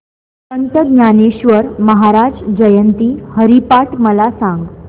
संत ज्ञानेश्वर महाराज जयंती हरिपाठ मला सांग